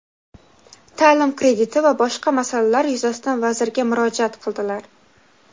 ta’lim krediti va boshqa masalalar yuzasidan vazirga murojaat qildilar.